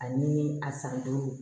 Ani a san duuru